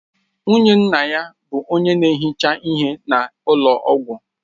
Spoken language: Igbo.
Nwunye nna ya bụ onye na-ehicha ihe na ụlọ ọgwụ